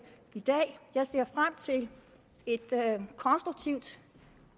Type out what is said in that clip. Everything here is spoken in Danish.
i dag jeg ser frem til et konstruktivt